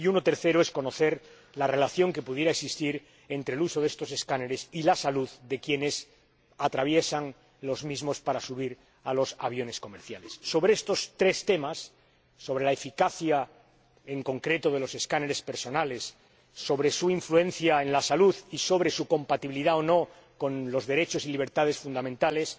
Y el tercero es conocer la relación que pudiera existir entre el uso de estos escáneres y la salud de quienes los atraviesan para subir a los aviones comerciales. Sobre estos tres temas sobre la eficacia, en concreto de los escáneres corporales, sobre su influencia en la salud y sobre su compatibilidad o no con los derechos y libertades fundamentales